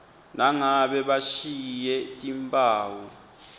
nangabe bashiye timphawu